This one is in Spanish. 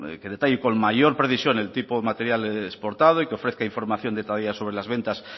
que detalle con mayor precisión el tipo de material exportado y que ofrezca información detallada sobre las ventas